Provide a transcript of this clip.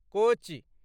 कोचि